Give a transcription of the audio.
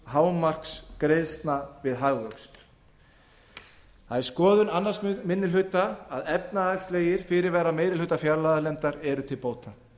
hámarksgreiðslna við hagvöxt það er skoðun annar minni hluta að efnahagslegir fyrirvarar meiri hluta fjárlaganefndar séu til bóta